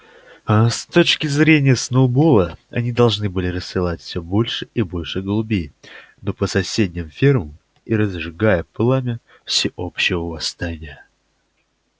аа с точки зрения сноуболла они должны рассылать всё больше и больше голубей по соседним фермам и разжигать пламя всеобщего восстания